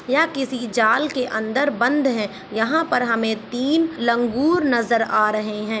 यहाँ किसी जाल के अन्दर बंध है यहाँ हमें तीन लंगूर नजर अ आ रहे है।